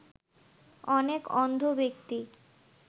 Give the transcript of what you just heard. অনেক অন্ধ ব্যক্তি